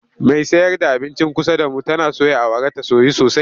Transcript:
Mai sayar da abincin kusa da mu tana soya awara ta soyu sosai.